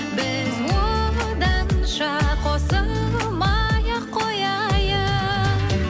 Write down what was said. біз оданша қосылмай ақ қояйық